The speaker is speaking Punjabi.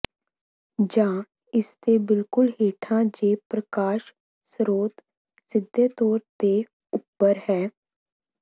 ਜਾਂ ਇਸਦੇ ਬਿਲਕੁਲ ਹੇਠਾਂ ਜੇ ਪ੍ਰਕਾਸ਼ ਸਰੋਤ ਸਿੱਧੇ ਤੌਰ ਤੇ ਉੱਪਰ ਹੈ